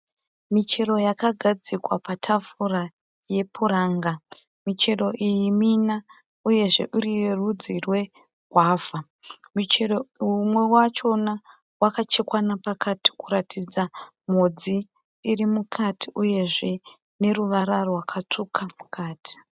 Michero yakagadzikwa patafu yepuranga, michero iyi mina uyezve iri yerudzi rweguava, muchero umwe wacho wakachekwa nepakati kuratidza modzi iri mukati uyezve neruvara rwakatsvuka mukati.